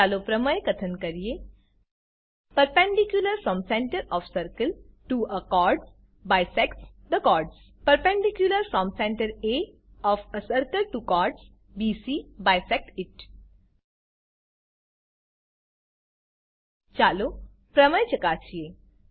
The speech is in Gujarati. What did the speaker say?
ચાલો પ્રમેય કથન કરીએ perpendicular from centre O F circle T O a chord bisects the chord perpendicular from centre a O F a circle T O chord BC bisects it ચાલો પ્રમેય ચકાસીએ